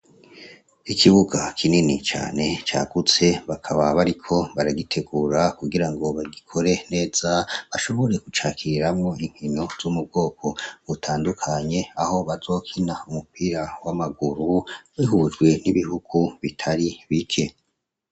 Ikibuga kinini cane cagutse bakaba bariko baragitegura kugira ngo bagikore neza bashobore kucakiriramwo inkino z'umubwoko utandukanye aho bazokina umupira w'amaguru nihujwe n'ibihugu bitari bike.